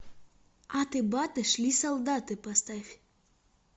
аты баты шли солдаты поставь